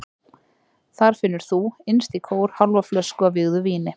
Þar finnur þú, innst í kór, hálfa flösku af vígðu víni.